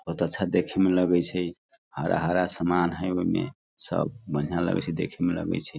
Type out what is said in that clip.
बहुत अच्छा देखे मे लगे छै हरा-हरा सामान हई ओय मे सब बढ़िया लगे छै देखे में लगे छै।